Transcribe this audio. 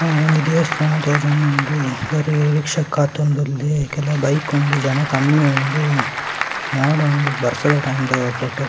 ಆ ಒಂಜಿ ದೇವಸ್ಥಾನ ತೋಜೋಂದುಂಡು ಒರೆ ರಿಕ್ಷೆಗ್‌ ಕಾತೋಂದುಲ್ಲೆ ಕೆಲ ಬೈಕ್‌ ಉಂಡು ಜನ ಕಮ್ಮಿ ಉಂಡು ಮೋಡ ಉಂಡು ಬರ್ಸದ ಟೈಮ್‌ದ ಫೋಟೋ .